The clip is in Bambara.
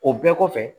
O bɛɛ kɔfɛ